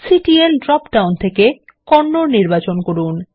CTL drop down থেকে কন্নড নির্বাচন করুন